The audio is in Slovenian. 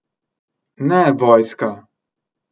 Ne vojska!